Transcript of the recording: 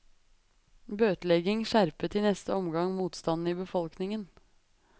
Bøtelegging skjerpet i neste omgang motstanden i befolkningen.